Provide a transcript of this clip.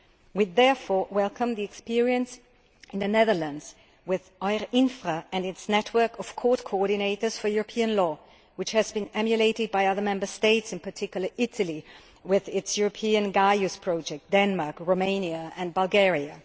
We therefore welcome the experience in the Netherlands with Eurinfra and its network of court coordinators for European law, which has been emulated by other Member States, in particular Italy, with its European Gaius Project, Denmark, Romania and Bulgaria.